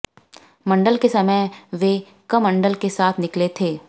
मंडल के समय वे कमंडल के साथ निकले थे